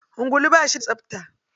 Ungulu ba shi da tsapta.